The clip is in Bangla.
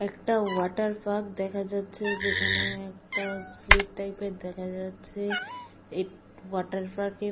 একটা ওয়াটার পার্ক দেখা যাচ্ছে যেখানে একটা স্লিপ টাইপের দেখা যাচ্ছে। এই ওয়াটার পার্কের ।